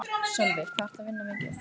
Sölvi: Hvað ertu að vinna mikið?